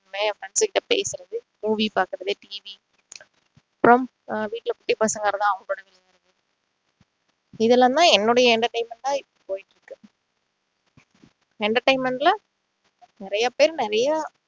இல்லைன்னா என் friends கிட்ட பேசுறது movie பாக்குறது TV அப்பறம் வீட்டுல போய் பசங்களோட விளையாடுவேன் இதெல்லாம் தான் என்னுடைய entertainment ஆ போயிட்டு இருக்கு entertainment ல நிறைய பேர் நிறைய